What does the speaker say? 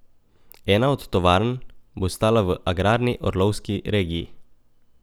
Ena od tovarn bo stala v agrarni Orlovski regiji.